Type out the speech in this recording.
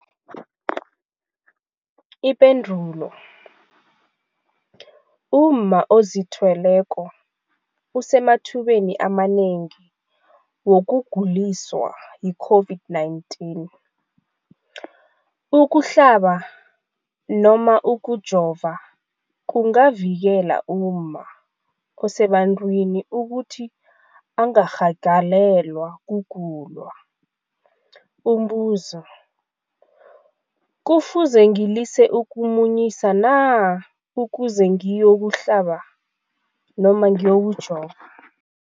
Ipendulo, umma ozithweleko usemathubeni amanengi wokuguliswa yi-COVID-19. Ukuhlaba nofana ukujova kungavikela umma osebantwini ukuthi angarhagalelwa kugula. Umbuzo, kufuze ngilise ukumunyisa na ukuze ngiyokuhlaba nofana ngiyokujova?